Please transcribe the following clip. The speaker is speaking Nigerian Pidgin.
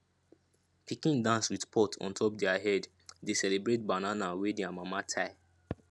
pikin dance with pot on top their head dey celebrate banana wey their mama tie